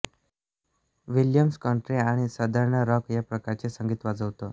Williams country आणि southern rock या प्रकारचे संगीत वाजवतो